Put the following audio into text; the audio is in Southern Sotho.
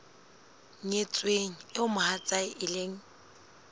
nyetsweng eo mohatsae e leng